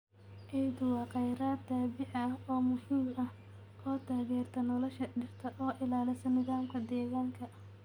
Ciiddu waa kheyraad dabiici ah oo muhiim ah oo taageerta nolosha dhirta oo ilaalisa nidaamka deegaanka.